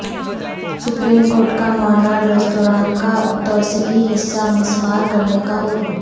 supreme court کا Monal restaurant کا توسیعی حصہ مسمار کرنے کا حکم